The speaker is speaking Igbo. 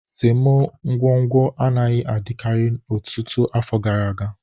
Semo ngwugwu anaghị adịkarị ọtụtụ afọ gara aga